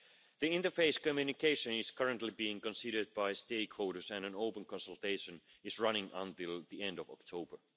The Interface Communication is currently being considered by stakeholders, and an open consultation is running until the end of October.